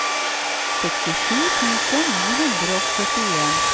sekstisju tusen ni hundre og førtien